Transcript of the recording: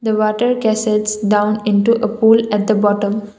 a water gases down into a pool at the bottom.